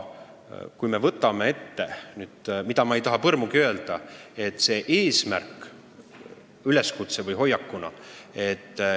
Nüüd, ma ei taha põrmugi öelda, et see eesmärk või üleskutse on vale.